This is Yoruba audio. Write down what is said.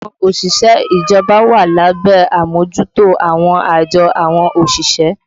Àwọn òṣìṣẹ́ ìjọba wà lábẹ́ àmójútó àwọn àjọ àwọn òṣìṣẹ́